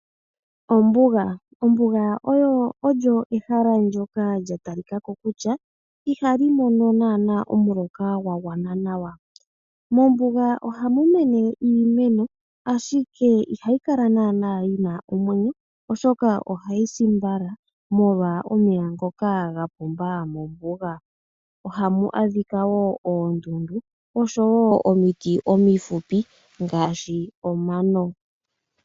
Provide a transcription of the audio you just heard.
Ombuga olyo ehala ndoka lya talikako kutya ihali mono naana omuloka gwa gwana nawa. Mombuga ohamu mene iimeno, ashike ihayi kala naana yi na omwenyo, oshoka ohayi si mbala molwa omeya ngoka ga pumba mombuga. Ohamu adhika wo oondundu oshowo omiti omihupi ngaashi omano.